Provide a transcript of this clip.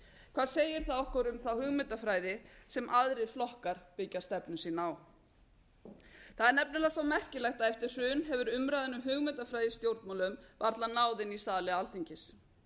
hvað segir það okkur um þá hugmyndafræði sem aðrir flokkar byggja stefnu sína á það er nefnilega svo merkilegt að eftir hrun hefur umræðan hugmyndafræði í stjórnmálum varla náð inn í sali alþingis